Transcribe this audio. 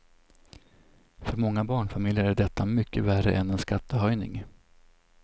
För många barnfamiljer är detta mycket värre än en skattehöjning.